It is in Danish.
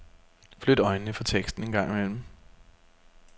Flyt øjnene fra teksten en gang imellem.